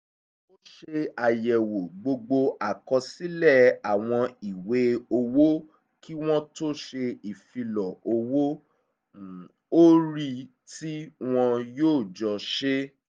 ó ṣe àyẹ̀wò gbogbo àkọsílẹ̀ àwọn ìwé owó kí wọ́n tó ṣe ìfilọ̀ owó-orí tí wọ́n yóò jọ ṣe